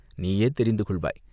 நீயே தெரிந்துகொள்வாய்!